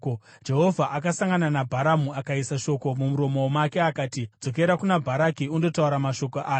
Jehovha akasangana naBharamu akaisa shoko mumuromo make akati, “Dzokera kuna Bharaki undotaura mashoko aya.”